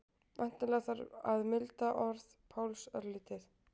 Væntanlega þarf að milda orð Páls örlítið.